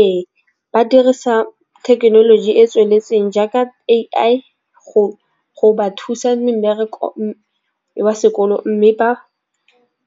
Ee, ba dirisa thekenoloji e tsweletseng jaaka A_I go ba thusa mmerekong wa sekolo, mme ba